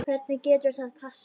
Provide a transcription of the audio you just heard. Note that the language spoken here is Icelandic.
Hvernig getur það passað?